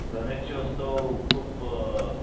गणेशउत्सव खूप